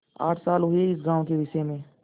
आठ साल हुए इस गॉँव के विषय में